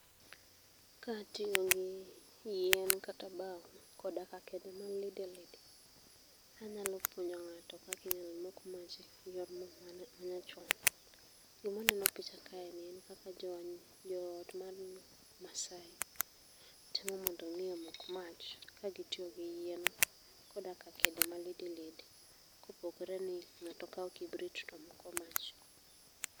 Katiyo gi yien kata bao koda ka kede ma lidi lidi. Anyalo puonjo ng'ato kaka inyalo mok mach e yorno ma nyachon. Gima waneno e picha kae en kaka jo ot mar Maasai temo mondo mi omok mach kagitiyo gi yien koda ka kede malidilidi kopogore ni ng'ato kao kibrit to moko mach